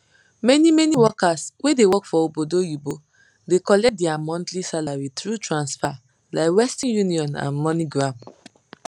manymany workers wey dey work for obodo oyinbo dey collect dia monthly salary thru transfa like western union and moneygram